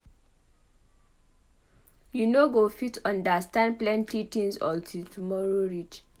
You no go fit understand plenty tins untill tomorrow reach.